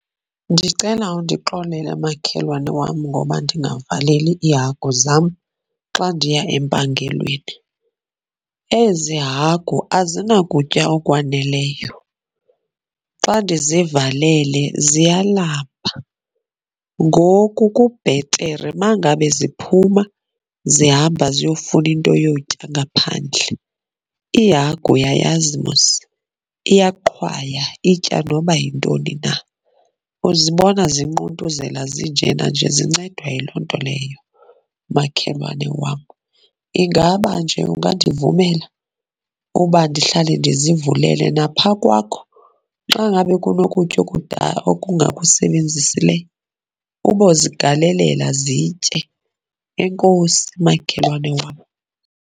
Ndicela undixolele makhelwane wam ngoba ndingavaleli iihagu zam xa ndiya empangelweni. Ezi hagu azinakutya okwaneleyo, xa ndizivalele ziyalamba. Ngoku kubhetere uma ngabe ziphuma zihamba ziyofuna into yotya ngaphandle. Ihagu uyayazi mos iyaqhwaya, itya noba yintoni na. Uzibona zinquntuzela zinjena nje zincedwa yiloo nto leyo, makhelwane wam. Ingaba nje ungandivumela uba ndihlale ndizivulele? Napha kwakho, xa ngaba kunokutya okudala okungakusebenzisileyo ubozigalelela zitye. Enkosi, makhelwane wam.